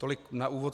Tolik na úvod.